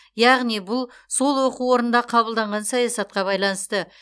яғни бұл сол оқу орнында қабылданған саясатқа байланысты